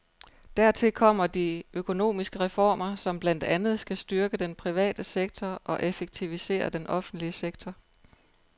Dertil kommer de økonomiske reformer, som blandt andet skal styrke den private sektor og effektivisere den offentlige sektor.